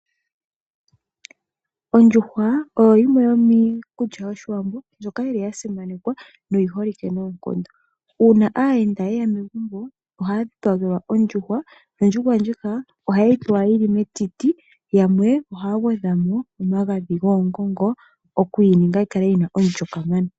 Ondjuhwa oyo yimwe yomiikulya yOshiwambo mbyoka yi li ya simanekwa, noyi holike noonkondo. Uuna aayenda ye ya megumbo, ohaya dhipagelwa ondjuhwa, nondjuhwa ndjika ohaye yi pewa yi li metiti, yo yamwe taye yi gwedha omagadhi goongongo oku yi ninga yi kale yi na omulyo kamana.